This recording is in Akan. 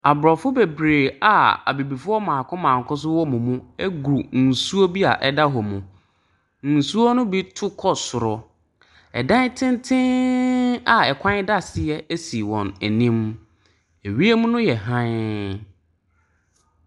Ɛpo da ha. Ship kɛseɛ si so a nkrɔfoɔ ayɛ mu ma. Nkrɔfoɔ ayɛ mu ma ara ma ship reyɛ ɛmene akɔ nsu no ase. Ship no mu no, abansoro wɔ ship no mu.